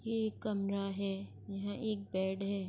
یہ ایک کمرہ ہے۔ یہاں ایک بیڈ ہے۔